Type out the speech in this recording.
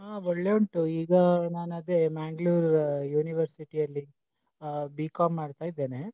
ಹಾ ಒಳ್ಳೆ ಉಂಟು ಈಗ ನಾನು ಅದೇ Mangalore University ಅಲ್ಲಿ ಆ B.Com ಮಾಡ್ತಾ ಇದೇನೆ.